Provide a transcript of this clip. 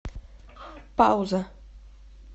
пауза